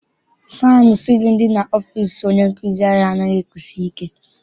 Fannụ sịlịnụ dị n'ọfịịsi onye nkụzi anyị anaghị ekusi ike.